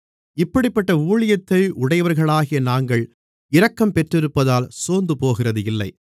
இப்படிப்பட்ட ஊழியத்தை உடையவர்களாகிய நாங்கள் இரக்கம் பெற்றிருப்பதால் சோர்ந்துபோகிறது இல்லை